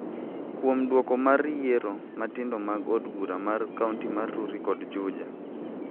kuom duoko mar yiero matindo mag od bura mar kaonti ma Rurii kod Juja,